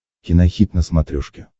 кинохит на смотрешке